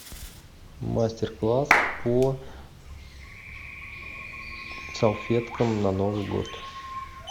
мастер класс по салфеткам на новый год